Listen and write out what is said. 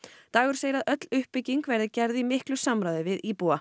dagur segir að öll uppbygging verði gerð í miklu samráði við íbúa